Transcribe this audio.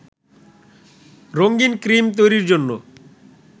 রঙিন ক্রিম তৈরির জন্য